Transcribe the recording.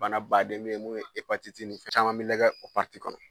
Bana ba den bɛ yen mun ye nin caman bɛ lajɛ o kɔnɔ